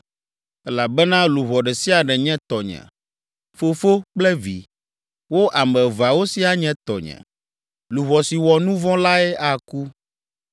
Elabena luʋɔ ɖe sia ɖe nye tɔnye, fofo kple vi, wo ame eveawo siaa nye tɔnye. Luʋɔ si wɔ nu vɔ̃ lae aku!’